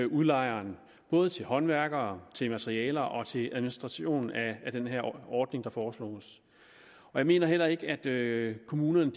udlejeren både til håndværkere til materialer og til administration af den ordning der foreslås jeg mener ikke at kommunerne